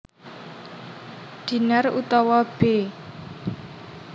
Dinar utawa b